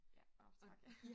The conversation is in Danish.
Ja åh tak